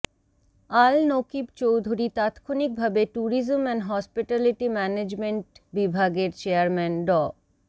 আল নকীব চৌধুরী তাৎক্ষনিকভাবে tourism and hospitality management বিভাগের chairman ড